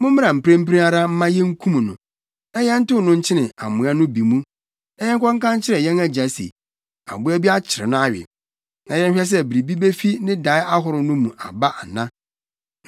Mommra mprempren ara mma yenkum no, na yɛntow no nkyene amoa no bi mu, na yɛnkɔka nkyerɛ yɛn agya se, aboa bi akyere no awe, na yɛnhwɛ sɛ biribi befi ne dae ahorow no mu aba ana.”